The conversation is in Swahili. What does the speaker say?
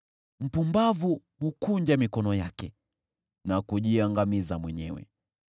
Mpumbavu hukunja mikono yake na kujiangamiza mwenyewe.